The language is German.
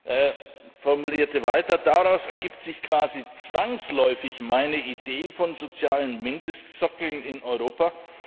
Er formulierte weiter Daraus ergibt sich quasi zwangsläufig meine Idee von sozialen Mindestsockeln in Europa.